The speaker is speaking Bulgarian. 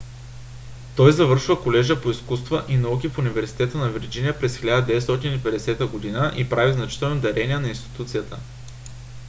той завършва колежа по изкуства и науки в университета на вирджиния през 1950 г. и прави значителни дарения на институцията